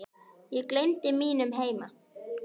Ég gleymdi mínum heima